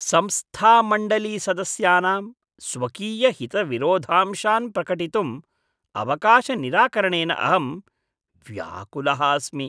संस्थामण्डलीसदस्यानां स्वकीयहितविरोधांशान् प्रकटितुम् अवकाशनिराकरणेन अहं व्याकुलः अस्मि।